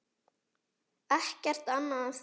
Ekkert annað en það?